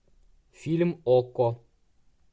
фильм окко